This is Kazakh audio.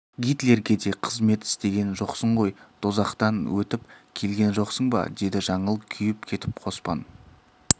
гитлерге де қызмет істеген жоқсың ғой дозақтан өтіп келген жоқсың ба деді жаңыл күйіп кетіп қоспан